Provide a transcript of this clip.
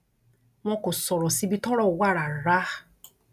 wọn kò sọrọ síbi tọrọ wà rárá